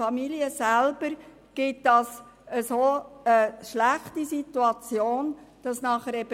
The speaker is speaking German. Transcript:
Diese führen zu schlechten Situationen in den Familien.